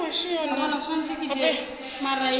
ke thuto yeo e hwago